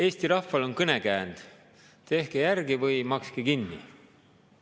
Eesti rahval on kõnekäänd: tehke järgi või makske kinni.